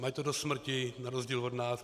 Mají do smrti, na rozdíl od nás.